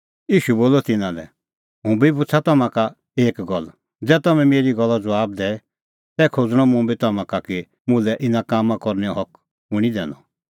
ईशू बोलअ तिन्नां लै हुंबी पुछ़ा तम्हां का एक गल्ल ज़ै तम्हैं मेरी गल्लो ज़बाब दैए तै खोज़णअ मुंबी तम्हां का कि मुल्है इना कामां करनैओ हक कुंणी दैनअ